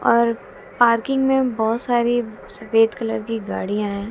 और पार्किंग में बहोत सारी सफेद कलर की गाड़ियां है।